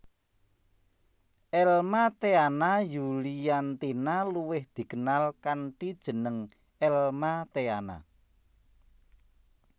Elma Theana Yuliantina luwih dikenal kanthi jeneng Elma Theana